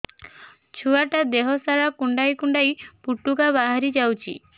ଛୁଆ ଟା ଦେହ ସାରା କୁଣ୍ଡାଇ କୁଣ୍ଡାଇ ପୁଟୁକା ବାହାରି ଯାଉଛି